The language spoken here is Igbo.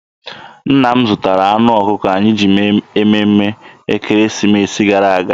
Nna m zụtara anụ ọkụkọ anyị ji mee emume ekeresimesi gara aga.